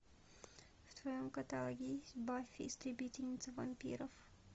в твоем каталоге есть баффи истребительница вампиров